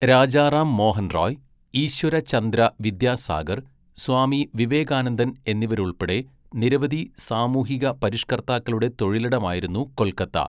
രാജാറാം മോഹൻ റോയ്, ഈശ്വര ചന്ദ്ര വിദ്യാസാഗർ, സ്വാമി വിവേകാനന്ദൻ എന്നിവരുൾപ്പെടെ നിരവധി സാമൂഹിക പരിഷ്കർത്താക്കളുടെ തൊഴിലിടമായിരുന്നു കൊൽക്കത്ത.